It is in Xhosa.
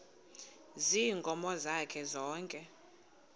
ziinkomo zakhe zonke